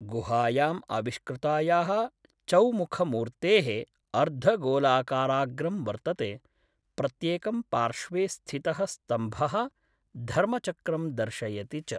गुहायाम् आविष्कृतायाः चौमुखमूर्तेः अर्धगोलाकाराग्रं वर्तते, प्रत्येकं पार्श्वे स्थितः स्तम्भः धर्मचक्रं दर्शयति च।